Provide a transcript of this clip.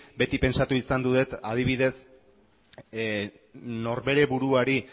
beti pentsatu izan dut adibidez norbere buruari